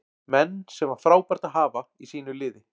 Menn sem var frábært að hafa í sínu liði.